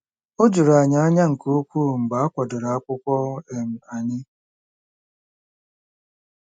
O juru anyị anya nke ukwuu mgbe a kwadoro akwụkwọ um anyị.